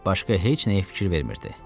Başqa heç nəyə fikir vermirdi.